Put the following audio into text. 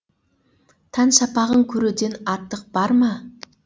таң шапағын көруден артық бар ма